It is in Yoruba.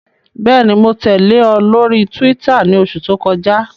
Bẹẹni, Mo tẹle ọ lori Túwìtá ni oṣu to kọja